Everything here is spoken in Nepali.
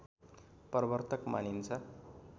प्रवर्तक मानिन्छ